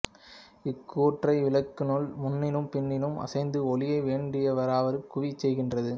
இக்கூறே விளக்கினுள் முன்னும் பின்னும் அசைந்து ஒளியை வேண்டியவாறு குவியச் செய்கின்றது